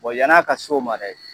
Bɔn yan'a ka s'o ma dɛ